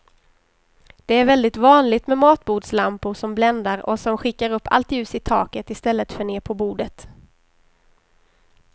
Det är väldigt vanligt med matbordslampor som bländar och som skickar upp allt ljus i taket i stället för ner på bordet.